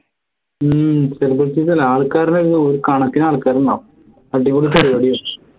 ഹും celebrities അല്ല ആൾക്കാരുടെ ഒരു കണക്കിന് ആൾക്കാർ ഉണ്ടാവും അടിപൊളി പരിപാടിയാ